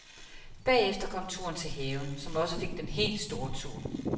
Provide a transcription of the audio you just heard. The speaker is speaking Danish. Bagefter kom turen til haven, som også fik den helt store tur.